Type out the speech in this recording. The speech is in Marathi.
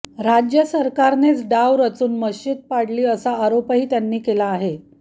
राज्यसरकारनेच डाव रचून मशीद पाडली असा आरोपही त्यांनी केला आहे